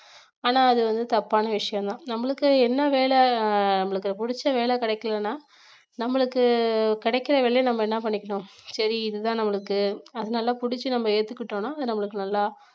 ஆனா அது வந்து தப்பான விஷயம்தான் நம்மளுக்கு என்ன வேல நம்மளுக்கு புடிச்ச வேலை கிடைக்கலைன்னா நம்மளுக்கு கிடைக்கிற வேலையை நம்ம என்ன பண்ணிக்கணும் சரி இதுதான் நம்மளுக்கு அது நல்லா புடிச்சு நம்ம ஏத்துக்கிட்டோம்ன்னா அது நம்மளுக்கு நல்லா